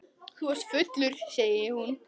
Þú ert fullur, segir hún.